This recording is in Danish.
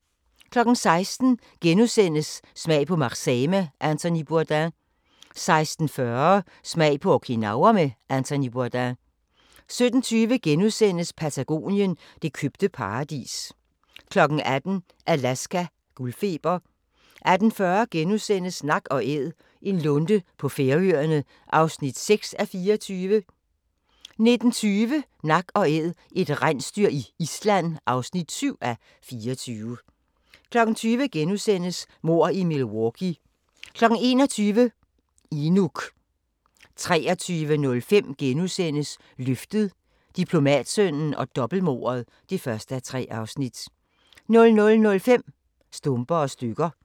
16:00: Smag på Marseille med Anthony Bourdain * 16:40: Smag på Okinawa med Anthony Bourdain 17:20: Patagonien – det købte paradis * 18:00: Alaska – guldfeber 18:40: Nak & Æd – en lunde på Færøerne (6:24)* 19:20: Nak & Æd – et rensdyr i Island (7:24) 20:00: Mord i Milwaukee * 21:00: Inuk 23:05: Løftet – Diplomatsønnen og dobbeltmordet (1:3)* 00:05: Stumper og stykker